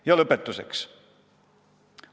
Ja lõpetuseks.